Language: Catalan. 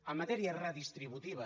en matèria redistributiva